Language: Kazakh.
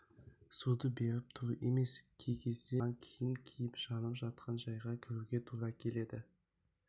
суды беріп тұру емес кей кезде саған киім киіп жанып жатқан жайға кіруге тура келеді